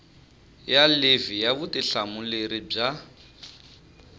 ya livhi ya vutihlamuleri bya